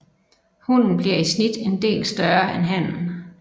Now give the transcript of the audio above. Hunnen bliver i snit en del større end hannen